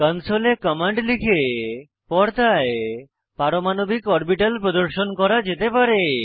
কনসোলে command লিখে পর্দায় পারমাণবিক অরবিটাল প্রদর্শন করা যেতে পারে